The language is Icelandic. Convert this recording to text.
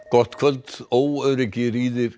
gott kvöld óöryggi